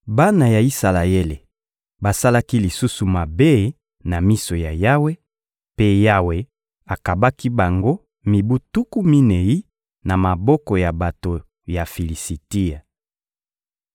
Bana ya Isalaele basalaki lisusu mabe na miso ya Yawe, mpe Yawe akabaki bango mibu tuku minei na maboko ya bato ya Filisitia.